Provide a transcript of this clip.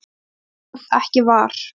Ég varð ekki var.